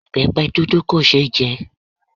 Ìbẹpẹ dúdú kò ṣe é jẹ